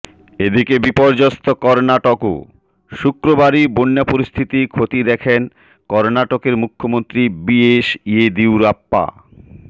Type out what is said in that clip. এদিকে বিপর্যস্ত কর্ণাটকও শুক্রবারই বন্যা পরিস্থিতি খতিয়ে দেখেন কর্ণাটকের মুখ্যমন্ত্রী বি এস ইয়েদিউরাপ্পা